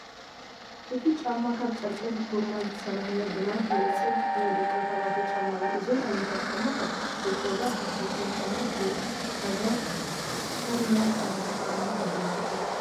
እቲ ጫማ ካብ ጨርቅን ጎማን ዝተሰርሓ ብማይ ዝህፀብ ናይ ደቂ ተባዕትዮ ጫማ እዩ። እዞም ዓይነታት ጫማ ካብ ብቆዳ ካብ ዝተሰርሑ ጫማታት ብዝሓሸ ከም ናይ ስራሕ ጫማታት የገልግሉ።